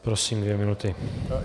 Prosím, dvě minuty.